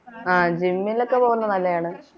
ആഹ് gym ലൊക്കെ പോകുന്നത് നല്ലയാണ്